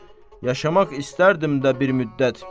yaşamaq istərdim də bir müddət.